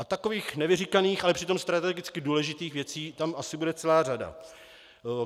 A takových nevyříkaných, ale přitom strategicky důležitých věcí tam asi bude celá řada.